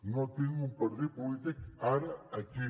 no tinc un partit polític ara aquí